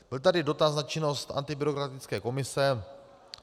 Byl tady dotaz na činnost antibyrokratické komise.